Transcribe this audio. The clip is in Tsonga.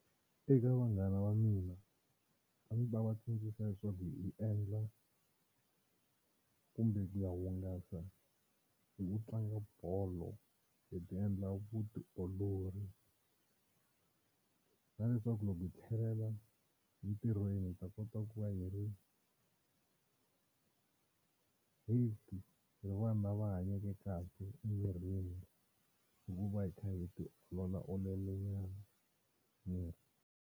Eka vanghana va mina a ndzi ta va tsundzuxa leswaku hi endla kumbe ku ya hungasa hi ku tlanga bolo hi ti endla vutiolori na leswaku loko hi tlhelela entirhweni hi ta kota ku va hi ri hi ri vanhu lava hanyeke kahle emirini hikuva hi kha hi tiololaololanyana miri.